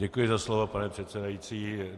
Děkuji za slovo, pane předsedající.